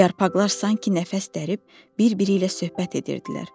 Yarpaqlar sanki nəfəs dərib bir-biri ilə söhbət edirdilər.